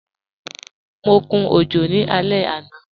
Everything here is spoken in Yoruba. Mọ kún ojò ní alẹ̀ ana.